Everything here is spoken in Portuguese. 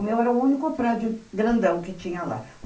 O meu era o único prédio grandão que tinha lá.